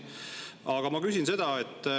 Aga ma küsin seda.